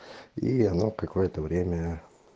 и оно какое-то время